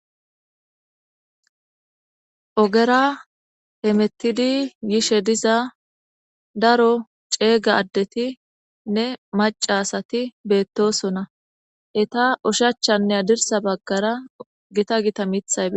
ogera hemettidi yishe diza daro ceega addeti nne macasati beettosona eta ushachanne adirsa baggara gita gita mithaybi